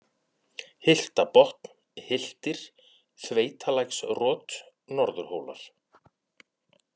Hyltabotn, Hyltir, Þveitalæksrot, Norðurhólar